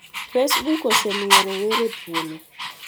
Facebook osemiyo rowere thuolo